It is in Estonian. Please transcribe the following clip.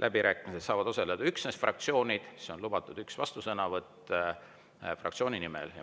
läbirääkimistel saavad osaleda üksnes fraktsioonid, siis on lubatud üks vastusõnavõtt fraktsiooni nimel.